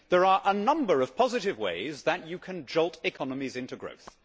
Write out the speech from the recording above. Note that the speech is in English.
There are a number of positive ways that you can jolt economies into growth.